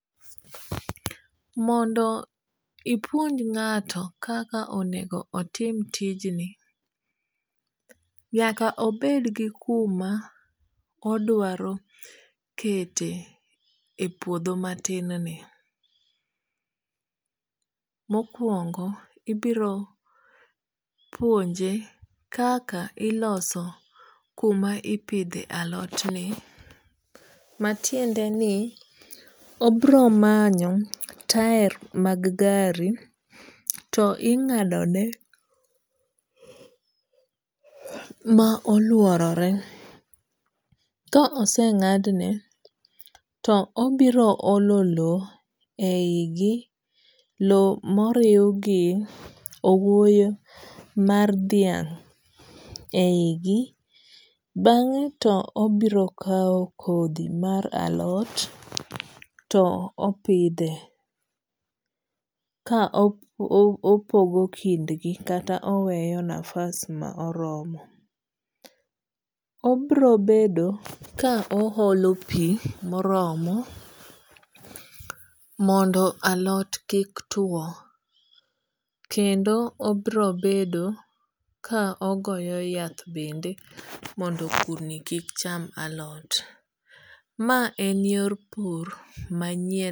Mondo ipuonj ng'ato kaka onego otim tijni, nyaka obed gi kuma odwaro kete e puodho matin ni. Mokuongo ibiro puonje kaka iloso kuma ipidhe alot ni. Matiende ni obiro manyo tael mag gari to ing'ado ne ma oluorore. Ka oseng'adne to obiro olo low e yi gi. Low moriw gi owuoyo mar dhiang' eyi gi. Bang'e to obiro kaw kodhi mar alot to opidhe ka opogo kindgi kata oweyo nafas moromo. Obiro bedo ka o holo pi moromo mondo alot kik tuo. Kendo obiro bedo ka ogoyo yath bende mondo kudni kik cham alot. Ma en yor pur manyien.